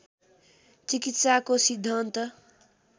चिकित्साको सिद्धान्त